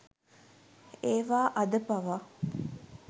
ඒවා අද පවා